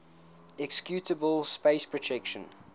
executable space protection